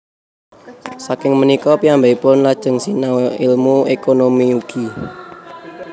Saking punika piyambakipun lajeng sinau ilmu ékonomi ugi